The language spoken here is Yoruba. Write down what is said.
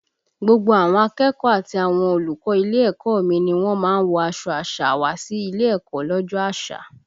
Gbogbo àwọn akẹ́kọ̀ọ́ àti àwọn olùkọ́ ilé ẹ̀kọ́ ọ mi ni wọ́n má ń wọ aṣọ àṣà wá sí ilé ẹ̀kọ́ lọ́jọ́ àṣà